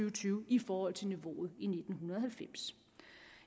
og tyve i forhold til niveauet i nitten halvfems